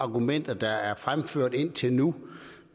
argumenter der er blevet fremført indtil nu